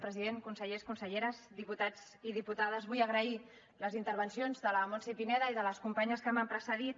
president consellers conselleres diputats i diputades vull agrair les intervencions de la montse pineda i de les companyes que m’han precedit